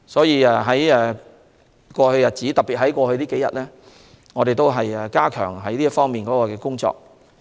因此，在過去一段時間，特別是這數天，我們已加強這方面的工作。